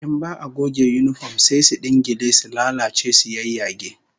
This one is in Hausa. In ba'a goge yinifom sai su dingile, su lalace su yayyage